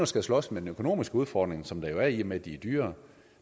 skal slås med den økonomiske udfordring som der jo er i og med at de er dyrere